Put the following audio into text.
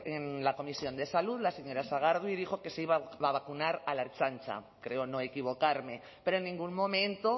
en la comisión de salud la señora sagardui dijo que se iba a vacunar a la ertzaintza creo no equivocarme pero en ningún momento